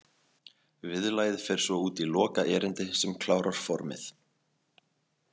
Viðlagið fer svo út í loka erindi sem klárar formið.